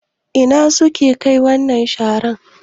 Ina suke Kai wannan sharar?